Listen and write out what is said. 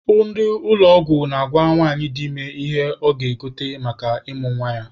Ndị ụlọ ọgwụ na-agwa nwanyị dị ime ihe ọ ga-egote maka ịmụ nwa ya.